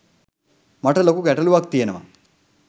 මට ලොකු ගැටළුවක් තියනවා